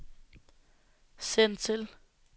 send til